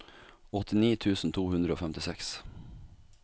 åttini tusen to hundre og femtiseks